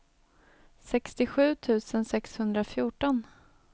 sextiosju tusen sexhundrafjorton